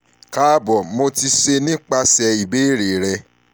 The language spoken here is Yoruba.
kaabo mo ti ṣe nipasẹ ibeere